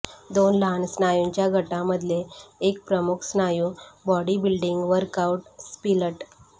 दोन लहान स्नायूंच्या गटांमधले एक प्रमुख स्नायू बॉडीबिल्डिंग वर्कआउट स्प्लिट